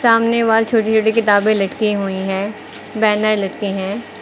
सामने वहाँ छोटी छोटी किताबें लटकी हुई हैं बैनर लटके हैं।